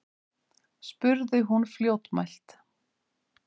spurði hún fljótmælt.